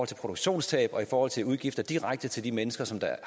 til produktionstab og i forhold til udgifter direkte til de mennesker som